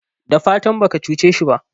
dafatan baka cuce shi ba?